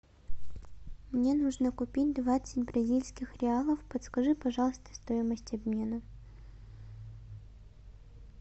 мне нужно купить двадцать бразильских реалов подскажи пожалуйста стоимость обмена